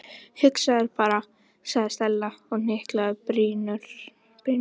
Hugsaðu þér bara- sagði Stella og hnyklaði brýnnar.